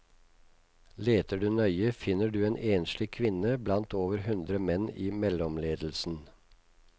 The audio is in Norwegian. Leter du nøye finner du en enslig kvinne blant over hundre menn i mellomledelsen.